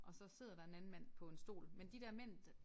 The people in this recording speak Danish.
Og så sidder der en anden mand på en stol men de der men der